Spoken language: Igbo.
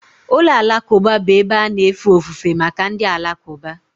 Ụlọ alakụba bụ ebe a na-efe ofufe maka ndị Alakụba